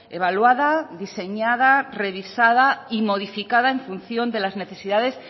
evaluada diseñada revisada y modificada en función de las necesidades